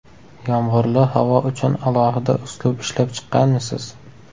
Yomg‘irli havo uchun alohida uslub ishlab chiqqanmisiz?